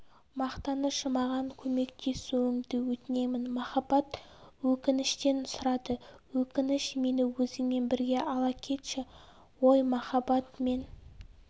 мақтаныш маған көмектесуіңді өтінемін махаббат өкініштен сұрады өкініш мені өзіңмен бірге ала кетші ой махаббат мен